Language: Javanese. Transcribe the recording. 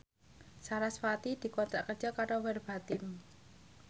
sarasvati dikontrak kerja karo Verbatim